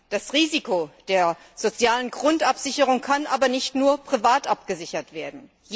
Das Risiko der sozialen Grundabsicherung kann aber nicht nur privat abgesichert werden.